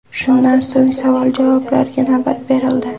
Shundan so‘ng savol-javoblarga navbat berildi.